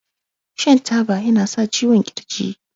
shan taba yana sa ciwon kirji